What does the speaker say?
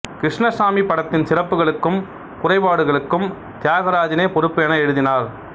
கிருஷ்ணசாமி படத்தின் சிறப்புகளுக்கும் குறைபாடுகளுக்கும் தியாகராஜனே பொறுப்பு என எழுதினார்